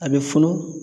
A bɛ funu